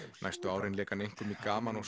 næstu árin lék hann einkum í gaman og